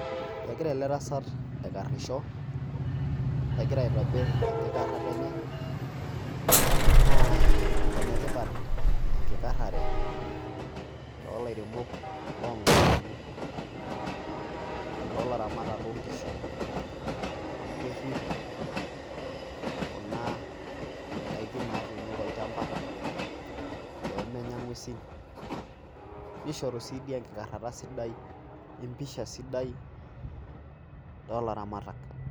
Egira ele tasat aikarisho egira aitobir enkikarata enye naa ene tipat ekikarare to lairemok loo mukundani lo laramatak loo nkishu amu kerip kuna daikin natuuno tolchamba pee menya ng'uesi, nishoru sii dii enkikarata sidai empisha sidai too laramatak.